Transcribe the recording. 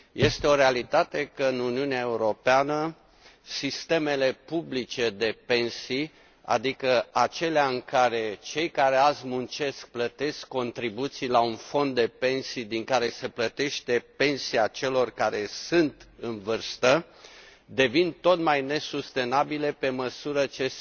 Este o realitate că în Uniunea Europeană sistemele publice de pensii, adică acelea în care cei care azi muncesc, plătesc contribuții la un fond de pensii din care se plătește pensia celor care sunt în vârstă, devin tot mai nesustenabile pe măsură ce